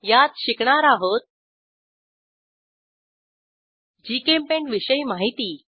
यात शिकणार आहोत जीचेम्पेंट विषयी माहिती